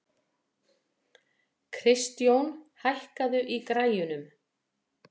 Kristjón, hækkaðu í græjunum.